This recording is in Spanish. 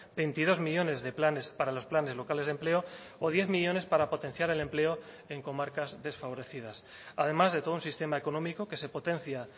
veintidós millónes de planes para los planes locales de empleo o diez millónes para potenciar el empleo en comarcas desfavorecidas además de todo un sistema económico que se potencia